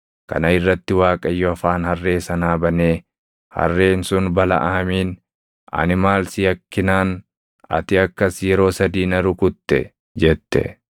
Kana irratti Waaqayyo afaan harree sanaa banee harreen sun Balaʼaamiin, “Ani maal si yakkinaan ati akkas yeroo sadii na rukutte?” jette.